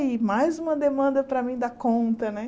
mais uma demanda para mim dar conta, né?